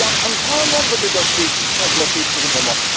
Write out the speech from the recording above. Un grand nombre de dossiers sont bloqués pour le moment.